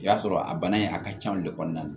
I y'a sɔrɔ a bana in a ka can de kɔnɔna na